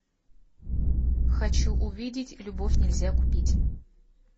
хочу увидеть любовь нельзя купить